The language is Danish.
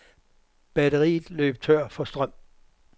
Batteriet løb tør for strøm.